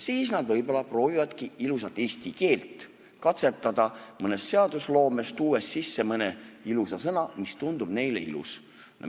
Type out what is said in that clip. Siis nad võib-olla proovivadki ilusat eesti keelt katsetada mõnes seadusloomes, tuues sisse mõne ilusa sõna, mis tundub neile ilus.